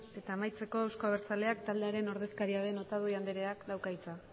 eta amaitzeko euzko abertzaleak taldearen ordezkaria den otadui andreak dauka hitza